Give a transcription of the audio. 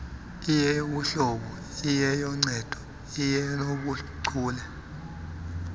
iyeyobuhlobo iyenoncedo nenobuchule